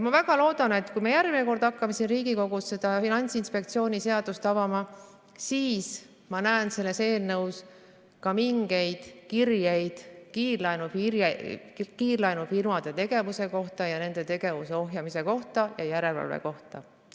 Ma väga loodan, et kui me järgmine kord hakkame siin Riigikogus seda Finantsinspektsiooni seadust avama, siis ma näen selles eelnõus ka mingeid kirjeid kiirlaenufirmade tegevuse kohta ning nende tegevuse ohjamise ja järelevalve kohta.